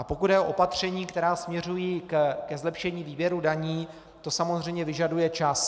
A pokud jde o opatření, která směřují ke zlepšení výběru daní, to samozřejmě vyžaduje čas.